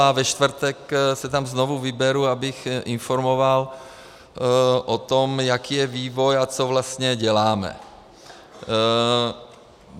A ve čtvrtek se tam znovu odeberu, abych informoval o tom, jaký je vývoj a co vlastně děláme.